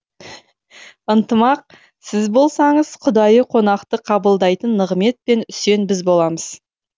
ынтымақ сіз болсаңыз құдайы қонақты қабылдайтын нығмет пен үсен біз боламыз